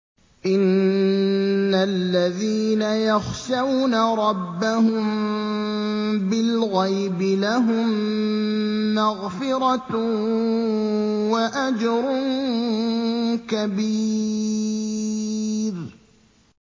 إِنَّ الَّذِينَ يَخْشَوْنَ رَبَّهُم بِالْغَيْبِ لَهُم مَّغْفِرَةٌ وَأَجْرٌ كَبِيرٌ